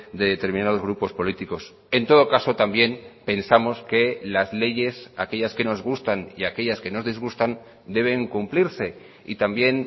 de determinados grupos políticos en todo caso también pensamos que las leyes aquellas que nos gustan y aquellas que nos disgustan deben cumplirse y también